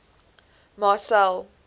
marcel